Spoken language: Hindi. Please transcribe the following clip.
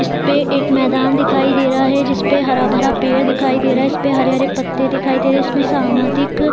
इस पे एक मैदान दिखाई दे रहा है जिसपे हरा-भरा पेड़ दिखाई दे रहा है इसपे हरे-हरे पत्ते दिखाई दे रहे हैं इसमें सामाजिक --